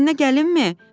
Köməyinə gəlinmi?